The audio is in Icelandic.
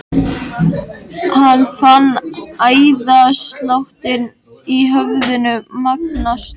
Hann fann æðasláttinn í höfðinu magnast.